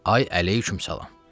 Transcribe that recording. Ay əleykum salam.